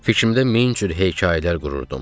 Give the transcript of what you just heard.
Fikrimdə min cür hekayələr qururdum.